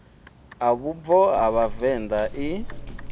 a vhubvo ha vhavenḓa i